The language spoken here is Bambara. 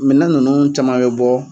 Minan ninnu caman bɛ bɔ